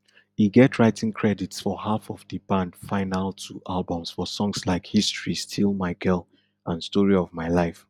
e get writing credits for half of di band final two albums for songs like history steal my girl and story of my life